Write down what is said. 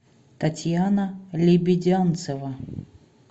татьяна лебедянцева